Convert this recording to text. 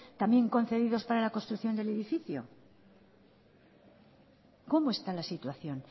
también concedidos para la construcción del edificio cómo está la situación